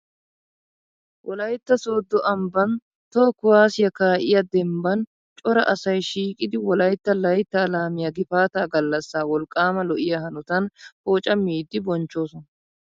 Wolaytta sooddo ambban toho kuwaasiya kaa'iyo dembban cora asay shiiqidi wolaytta layttaa laamiya gifaataa gallassaa wolqqaama lo'iya hanotan poocammiiddi bonchchoosona.